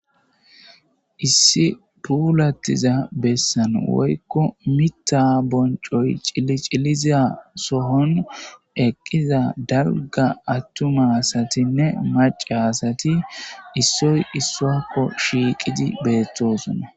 Issi puulattiza bessan woykko mita boncoy iciliza sohon eqqiza dalga attumasatinne maca asati issoy issoakko shiiqidi beettosona.